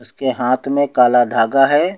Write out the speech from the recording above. उसके हाथ में काला धागा है।